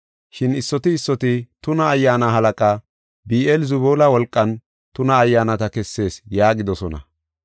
Shin issoti issoti, “Tuna ayyaana halaqa, Bi7eel-Zebuula wolqan tuna ayyaanata kessees” yaagidosona.